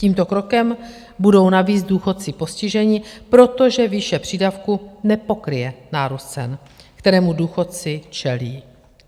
Tímto krokem budou navíc důchodci postiženi, protože výše přídavku nepokryje nárůst cen, kterému důchodci čelí.